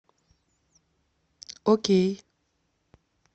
окей